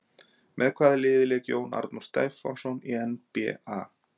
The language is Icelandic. Með hvaða liði lék Jón Arnór Stefánsson í NBA?